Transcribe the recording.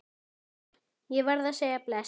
Ég varð að segja bless.